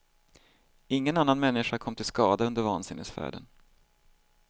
Ingen annan människa kom till skada under vansinnesfärden.